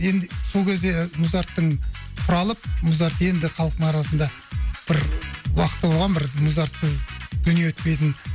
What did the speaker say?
енді сол кезде музарттың құралып музарт енді халықтың арасында бір уақыты болған бір музартсыз дүние өтпейтін